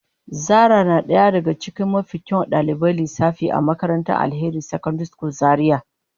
Zara na daya daga cikin mafi kyawun daliban lissafi a makarantar Alheri secondary school Zaria.